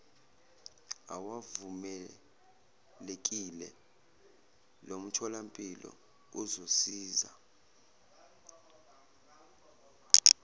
awavumelekile lomtholampilo uzosisiza